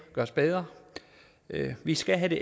gøres bedre vi skal have det